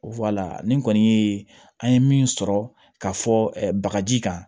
nin kɔni ye an ye min sɔrɔ ka fɔ bakaji kan